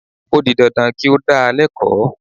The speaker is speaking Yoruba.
O di dandan kí ó dá a lẹ́kọ̀ọ́